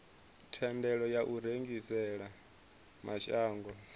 thendelo ya u rengisela mashango